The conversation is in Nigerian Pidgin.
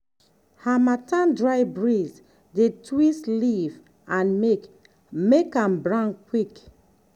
harmattan dry breeze dey twist leaf and make make am brown quick.